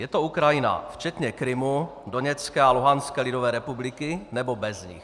Je to Ukrajina včetně Krymu, Doněcké a Luhanské lidové republiky, nebo bez nich?